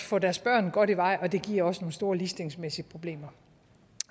få deres børn godt i vej og det giver også nogle store ligestillingsmæssige problemer